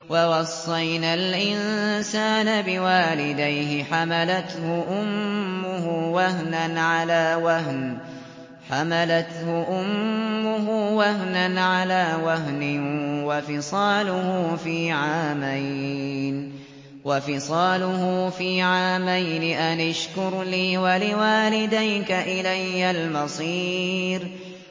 وَوَصَّيْنَا الْإِنسَانَ بِوَالِدَيْهِ حَمَلَتْهُ أُمُّهُ وَهْنًا عَلَىٰ وَهْنٍ وَفِصَالُهُ فِي عَامَيْنِ أَنِ اشْكُرْ لِي وَلِوَالِدَيْكَ إِلَيَّ الْمَصِيرُ